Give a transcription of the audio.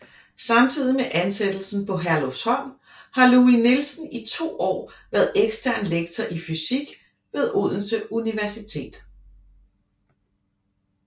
Samtidig med ansættelsen på Herlufsholm har Louis Nielsen i 2 år været ekstern lektor i fysik ved Odense Universitet